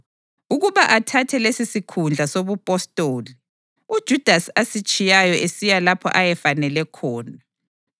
ukuba athathe lesisikhundla sobupostoli, uJudasi asitshiyayo esiya lapho ayefanele khona.”